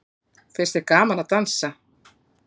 Finnst þér gaman að dansa?